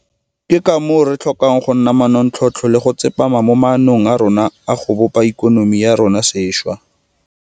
Ke ka moo re tlhokang go nna manontlhotlho le go tsepama mo maanong a rona a go bopa ikonomi ya rona sešwa.